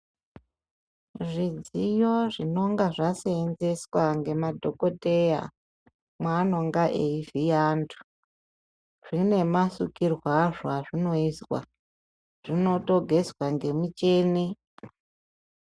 Zvidziyo zvinenge zvaseenzeswa ngemadhokoteya maanenge eivhiya antu zvine masukirwe azvo azvinoitwa zvinotogezwa ngemuchini.